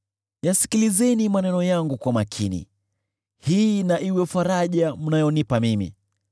“Yasikilizeni maneno yangu kwa makini; hii na iwe faraja mnayonipa mimi.